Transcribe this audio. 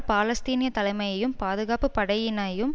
பாலஸ்தீனிய தலைமையையும் பாதுகாப்பு படையினயும்